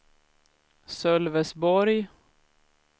Sölvesborg